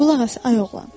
Qulaq as, ay oğlan.